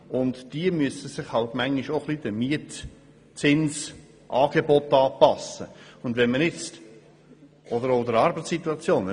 Diese Leute müssen sich manchmal auch den Mietzinsangeboten oder der Arbeitssituation anpassen.